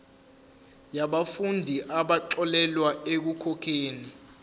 yabafundi abaxolelwa ekukhokheni